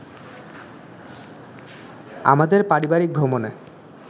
আমাদের পারিবারিক ভ্রমণে